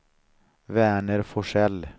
Verner Forsell